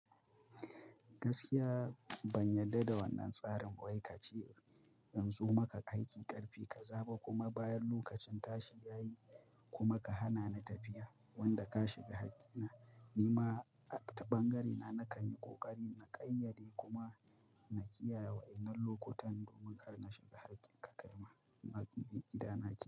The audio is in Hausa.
Gaskiya ban yadda da wannan tsarin ba wai ka ce in zo maka aiki karfe kaza ba, kuma bayan lokacin tashi yayi kuma ka hana ni tafiya wanda ka shiga hakkin. Ni ma a ta ɓangarena na kan yi ƙoƙari na ƙayyade kuma na kiyaye wa'inan lokutan domin kar na shiga hakkin ka kaima. Na bi gida nake.